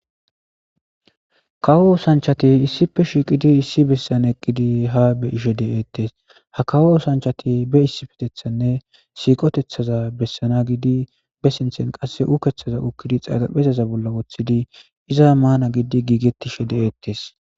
Kawo osanchati issippe shiqidi issi besana eqidi ha beyishe detes ha kawo osanchati be issippetethanne be siqotethaza besana gidi be sinthen qase ukkethaza ukkidi xarapheza bolla wothidi izza mana gidi gigetishe de'etes